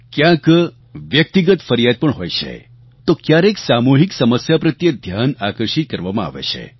ક્યાંક વ્યક્તિગત ફરિયાદ પણ હોય છે તો ક્યારેક સામૂહિક સમસ્યા પ્રત્યે ધ્યાન આકર્ષિત કરવામાં આવે છે